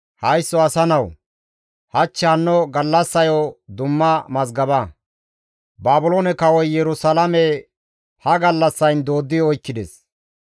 «Haysso asa nawu! Hach hanno gallassayo dumma mazgaba; Baabiloone kawoy Yerusalaame ha gallassayn dooddi oykkides.